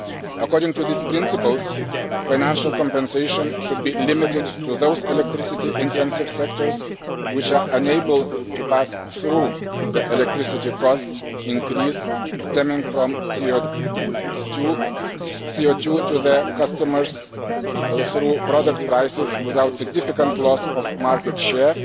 According to these principles, financial compensation should be limited to those electricity intensive sectors which are unable to pass on the electricity cost increase stemming from CO 2 to their customers through product prices without significant loss of market share,